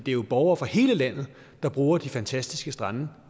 er jo borgere fra hele landet der bruger de fantastiske strande